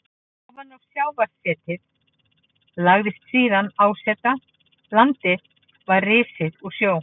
Ofan á sjávarsetið lagðist síðan árset, landið var risið úr sjó.